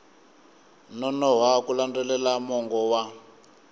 nonoha ku landzelela mongo wa